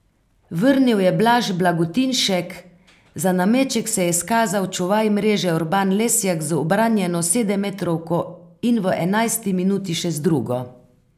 Vrnil je Blaž Blagotinšek, za nameček se je izkazal čuvaj mreže Urban Lesjak z ubranjeno sedemmetrovko in v enajsti minuti še z drugo.